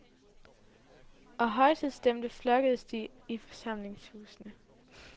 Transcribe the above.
Og højtidsstemte flokkedes de i forsamlingshusene.